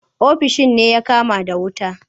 Ofishin din ne ya kama da wuta.